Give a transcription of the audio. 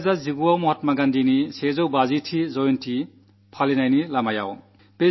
2019 ൽ നാം മഹാത്മാഗാന്ധിയുടെ 150 ആം ജയന്തി ആഘോഷികാൻ പോകയാണ്